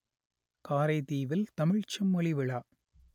காரைதீவில் தமிழ்ச் செம்மொழி விழா